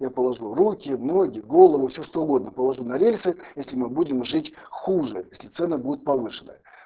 я положу руки ноги голову все что угодно положу на рельсы если мы будем жить хуже если цены будут повышены